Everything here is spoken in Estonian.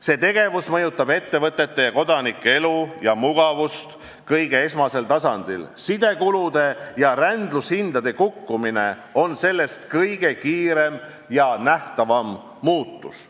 See tegevus mõjutab ettevõtete ja kodanike elu ja mugavust esmasel tasandil: sidekulude ja rändlustasude kukkumine on sellest kõige kiirem ja nähtavam muutus.